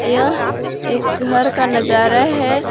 यह एक घर का नजारा है।